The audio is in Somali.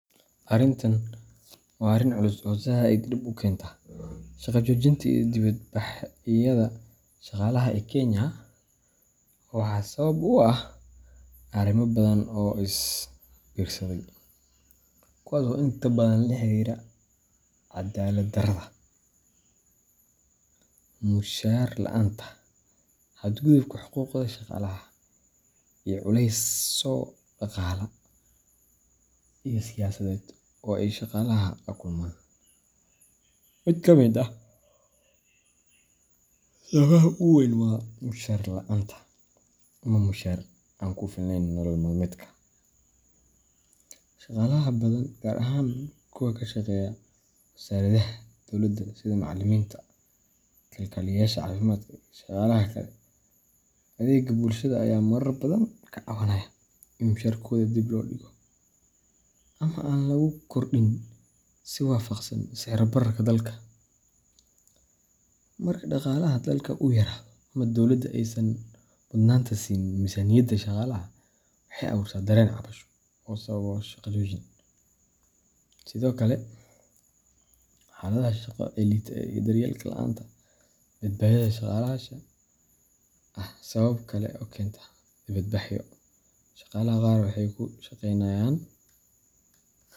Arintan waa arin culus oo zaid dib u kenta. Shaqo joojinta iyo dibadbaxyada shaqaalaha ee Kenya waxaa sabab u ah arrimo badan oo is biirsaday, kuwaas oo inta badan la xiriira cadaalad darrada, mushahar la’aanta, xadgudubka xuquuqda shaqaalaha, iyo culeysyo dhaqaale iyo siyaasadeed oo ay shaqaalaha la kulmaan. Mid kamid ah sababaha ugu weyn waa mushahar la’aanta ama mushahar aan ku filnayn nolol maalmeedka. Shaqaalaha badan gaar ahaan kuwa ka shaqeeya wasaaradaha dawladda sida macallimiinta, kalkaaliyeyaasha caafimaadka, iyo shaqaalaha kale ee adeegga bulshada ayaa marar badan ka cabanaya in mushaharkooda dib loo dhigo ama aan lagu kordhin si waafaqsan sicir bararka dalka. Marka dhaqaalaha dalka uu yaraado ama dowladda aysan mudnaanta siin miisaaniyadda shaqaalaha, waxay abuurtaa dareen cabasho oo sababa shaqo joojin. Sidoo kale, xaaladaha shaqo ee liita iyo daryeel la’aanta badbaadada shaqaalaha ayaa ah sabab kale oo keenta dibadbaxyo. Shaqaalaha qaar waxay ku shaqeenayaan.